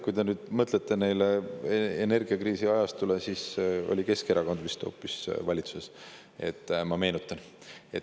Kui te mõtlete energiakriisi ajale, siis oli valitsuses vist hoopis Keskerakond, meenutan ma teile.